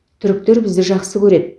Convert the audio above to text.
түріктер бізді жақсы көреді